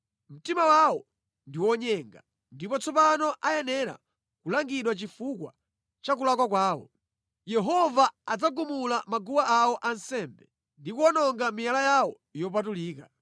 Mtima wawo ndi wonyenga ndipo tsopano ayenera kulangidwa chifukwa cha kulakwa kwawo. Yehova adzagumula maguwa awo ansembe ndi kuwononga miyala yawo yopatulika.